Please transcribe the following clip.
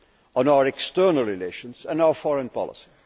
on our external relations and our foreign policy.